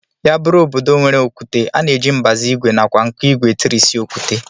Ya bụrụ obodo nwere okwute, a na-eji mbazụ ìgwè nakwa nkụigwe etirịsị okwute